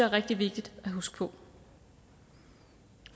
rigtig vigtigt at huske på